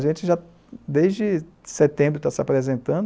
A gente, desde setembro, está se apresentando.